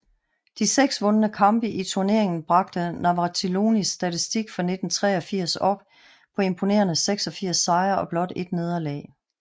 De seks vundne kampe i turneringen bragte Navratilovas statistik for 1983 op på imponerende 86 sejre og blot 1 nederlag